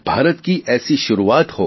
ભારત કી ઐસી શુરૂઆત હો